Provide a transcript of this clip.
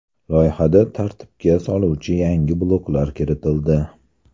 Loyihada tartibga soluvchi yangi bloklar kiritildi.